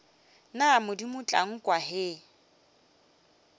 na modimo tla nkwa ge